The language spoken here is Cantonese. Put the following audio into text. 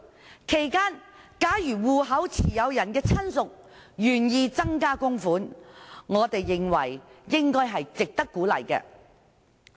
在此期間，如戶口持有人的親屬願意增加供款，我們認為是值得鼓勵的。